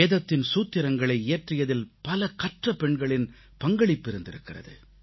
வேதத்தின் சூத்திரங்களை இயற்றியதில் பல கற்ற பெண்களின் பங்களிப்பு இருந்திருக்கிறது